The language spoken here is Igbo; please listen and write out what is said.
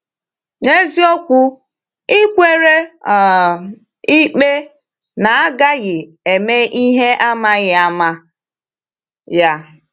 N’eziokwu, ị kwere um ikpe na agaghị eme ihe amaghị ama ya.